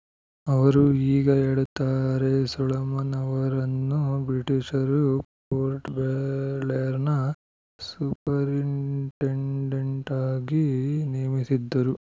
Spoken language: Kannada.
ಅವರು ಹೀಗ ಹೇಳುತ್ತಾರೆ ಸೊಲೊಮನ್‌ ಅವರನ್ನು ಬ್ರಿಟಿಷರು ಪೋರ್ಟ್‌ಬ್ಲೇರ್‌ನ ಸುಪರಿಂಟೆಂಡೆಂಟ್‌ ಆಗಿ ನೇಮಿಸಿದ್ದರು